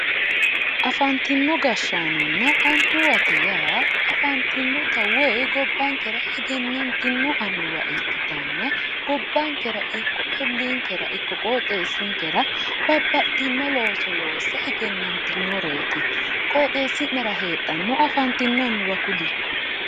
afanitino gashanonna anuwate ya afanitino woyi gobankera egenantino anuwa ikitanna gobankera iko olinkera iko qoxesinkera babaxino looso loose egenanitinoreti qoxesinera hedhano afatino anufa kuli